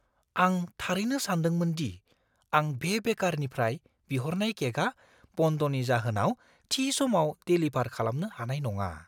आं थारैनो सानदोंमोन दि आं बे बेकारनिफ्राय बिहरनाय केकआ बन्दनि जाहोनाव थि समाव डेलिभार खालामनो हानाय नङा।